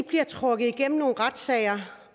bliver trukket igennem nogle retssager